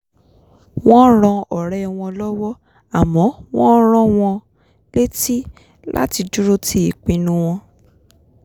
wọ́n ran ọ̀rẹ́ wọn lọ́wọ́ àmọ́ wọ́n rán wọn létí láti dúró ti ìpinnu wọn